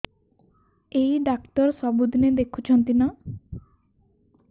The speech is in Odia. ଏଇ ଡ଼ାକ୍ତର ସବୁଦିନେ ଦେଖୁଛନ୍ତି ନା